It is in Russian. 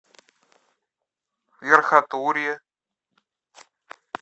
верхотурье